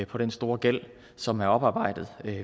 på den store gæld som er oparbejdet er